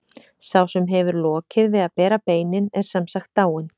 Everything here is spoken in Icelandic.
Sá sem hefur lokið við að bera beinin er sem sagt dáinn.